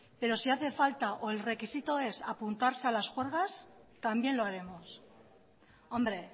pero si hace falta o el requisito es apuntarse a las juergas también lo haremos hombre